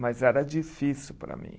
Mas era difícil para mim.